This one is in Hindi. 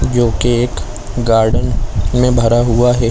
और जोकि गार्डन में भरा हुआ है।